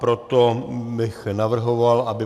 Proto bych navrhoval, aby